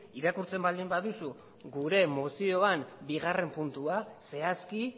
irakurtzen baldin baduzu gure mozioan bigarren puntua zehazki